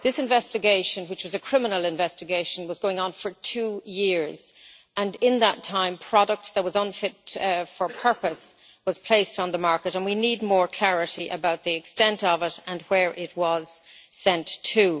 This investigation, which is a criminal investigation, was going on for two years and in that time products that were unfit for purpose were placed on the market and we need more clarity about the extent of it, and where they were sent to.